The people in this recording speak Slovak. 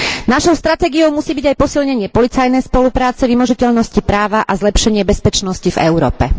Našou stratégiou musí byť aj posilnenie policajnej spolupráce, vymožiteľnosti práva a zlepšenie bezpečnosti v Európe.